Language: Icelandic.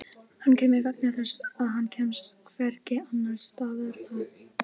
Hann kemur vegna þess að hann kemst hvergi annars staðar að.